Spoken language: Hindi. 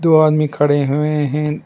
दो आदमी खड़े हुए हैं।